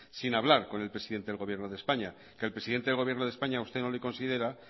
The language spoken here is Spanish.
sin hablar con el presidente del gobierno de españa que el presidente del gobierno de españa a usted no le considera